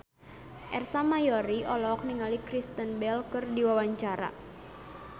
Ersa Mayori olohok ningali Kristen Bell keur diwawancara